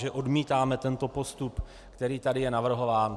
Že odmítáme tento postup, který tady je navrhován.